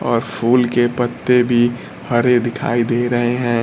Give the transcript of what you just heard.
और फूल के पत्ते भी हरे दिखाई दे रहे हैं।